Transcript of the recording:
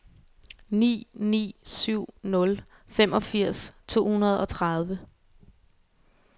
ni ni syv nul femogfirs to hundrede og tredive